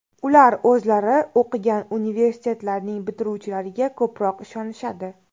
Ular o‘zlari o‘qigan universitetlarning bitiruvchilariga ko‘proq ishonishadi.